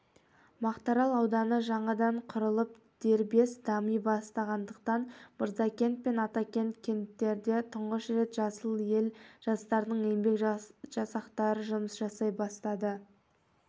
мақтаарал ауданы жаңадан құрылып дербес дами бастағандықтан мырзакент пен атакент кенттерінде тұңғыш рет жасыл ел жастардың еңбек жасақтары жұмыс жасай бастады